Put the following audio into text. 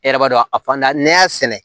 E yɛrɛ b'a dɔn a fanda ne y'a sɛnɛ